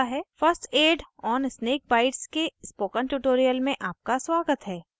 first aid on snake bites के spoken tutorial में आपका स्वागत है